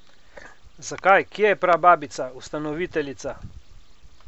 Zakaj, kje je prababica, ustanoviteljica?